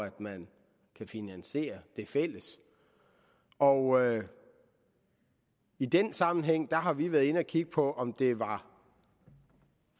at man kan finansiere det fælles og i den sammenhæng har vi været inde at kigge på om det var